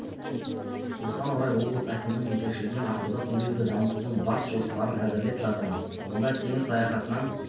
осыған орай облыс әкімінің жетекшілігімен ақтауда туризмді дамытудың бас жоспарын әзірлеп жатырмыз онда теңіз саяхатынан